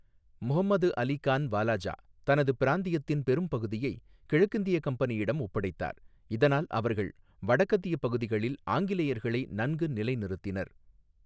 முஹம்மது அலி கான் வாலாஜா தனது பிராந்தியத்தின் பெரும்பகுதியை கிழக்கிந்திய கம்பெனியிடம் ஒப்படைத்தார், இதனால் அவர்கள் வடக்கத்திய பகுதிகளில் ஆங்கிலேயர்களை நன்கு நிலைநிறுத்தினர்.